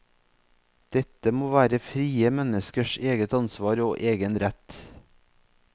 Dette må være frie menneskers eget ansvar og egen rett.